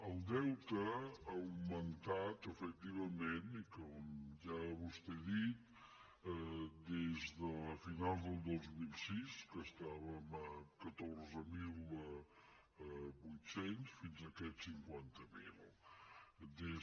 el deute ha augmentat efectivament i com ja vostè ha dit des de finals del dos mil sis que estàvem a catorze mil vuit cents fins a aquest cinquanta miler